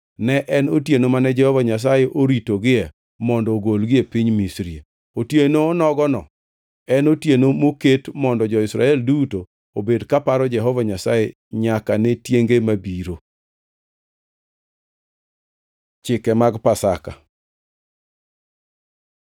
Ne en otieno mane Jehova Nyasaye oritogie mondo ogolgie piny Misri. Otieno onogono en otieno moket mondo jo-Israel duto obed kaparo Jehova Nyasaye nyaka ne tienge mabiro. Chike mag Pasaka